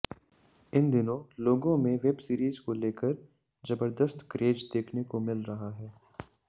इन दिनों लोगों में वेबसीरीज को लेकर जबरदस्त क्रेज देखने को मिल रहा है